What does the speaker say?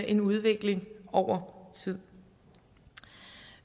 en udvikling over tid